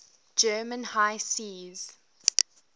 german high seas